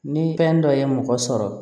Ni fɛn dɔ ye mɔgɔ sɔrɔ